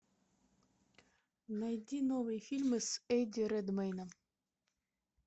найди новые фильмы с эдди редмэйном